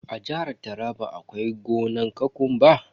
A jihar taraba akwai gonan kokumba.